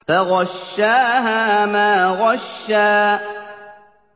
فَغَشَّاهَا مَا غَشَّىٰ